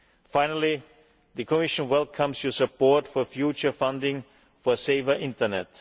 Finally, the Commission welcomes your support for future funding for a safer Internet.